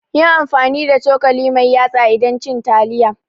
Yi amfani da cokali mai yatsa idan cin taliya.